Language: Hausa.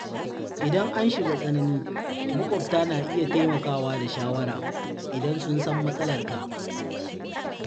Idan an shiga tsanani, maƙwabta na iya taimakawa da shawara idan sun san matsalarka.